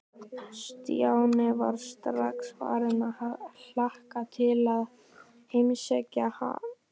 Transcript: Stjáni var strax farinn að hlakka til að heimsækja hana.